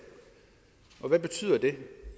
og hvad betyder det